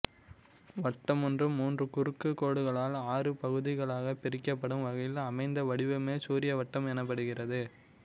வட்டமொன்று மூன்று குறுக்குக் கோடுகளால் ஆறு பகுதிகளாகப் பிரிக்கப்படும் வகையில் அமைந்த வடிவமே சூரிய வட்டம் எனப்படுகிறது